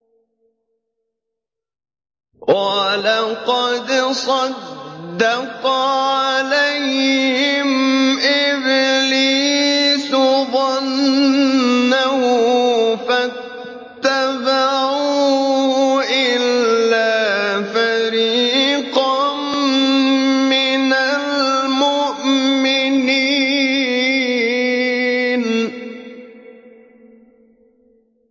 وَلَقَدْ صَدَّقَ عَلَيْهِمْ إِبْلِيسُ ظَنَّهُ فَاتَّبَعُوهُ إِلَّا فَرِيقًا مِّنَ الْمُؤْمِنِينَ